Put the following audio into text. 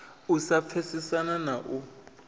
u sa pfesesana na u